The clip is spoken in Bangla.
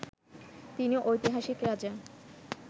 তিনি ঐতিহাসিক রাজা